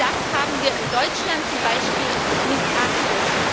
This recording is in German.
Das haben wir in Deutschland zum Beispiel missachtet.